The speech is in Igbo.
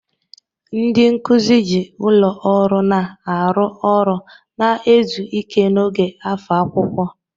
Ndị nkuzi ji ụlọ ọrụ na-arụ ọrụ na izu ike n'oge afọ akwụkwọ.